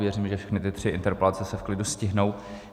Věřím, že všechny ty tři interpelace se v klidu stihnou.